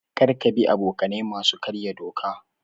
Kar ka bi abokanai masu karya doka.